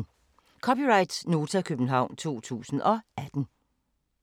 (c) Nota, København 2018